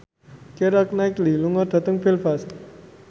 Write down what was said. Keira Knightley lunga dhateng Belfast